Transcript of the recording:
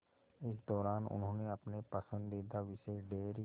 इस दौरान उन्होंने अपने पसंदीदा विषय डेयरी